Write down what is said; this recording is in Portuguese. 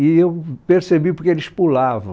E eu percebi porque eles pulavam.